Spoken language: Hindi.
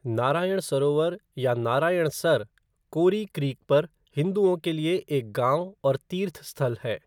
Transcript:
नारायण सरोवर या नारायणसर कोरी क्रीक पर हिंदुओं के लिए एक गाँव और तीर्थस्थल है।